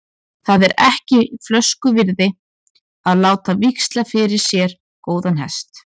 Það er ekki flösku virði að láta víxla fyrir sér góðan hest.